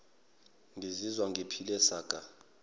ngizizwa ngiphile saka